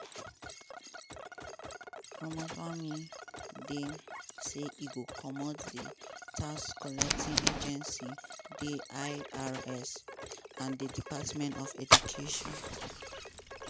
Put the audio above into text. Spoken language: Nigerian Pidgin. ramaswamy dey say e go comot di tax-collecting agency di irs and di department of education.